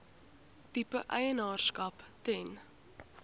tipe eienaarskap ten